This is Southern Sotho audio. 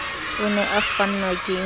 o ne a kgannwa ke